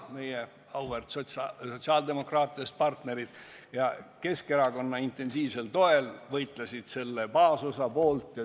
Meie auväärt sotsiaaldemokraatidest partnerid Keskerakonna intensiivsel toel võitlesid baasosa poolt.